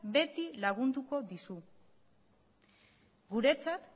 beti lagunduko dizu guretzat